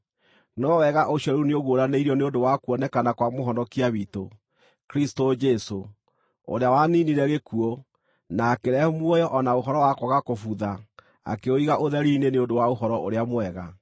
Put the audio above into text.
no wega ũcio rĩu nĩũguũranĩirio nĩ ũndũ wa kuonekana kwa Mũhonokia witũ, Kristũ Jesũ, ũrĩa waniinire gĩkuũ, na akĩrehe muoyo o na ũhoro wa kwaga kũbutha akĩũiga ũtheri-inĩ nĩ ũndũ wa Ũhoro-ũrĩa-Mwega.